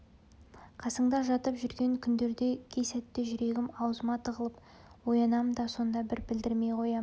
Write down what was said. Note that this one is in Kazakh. қасыңда жатып жүрген күндерде кей сәтте жүрегім аузыма тығылып оянам да сонда да білдірмей қоям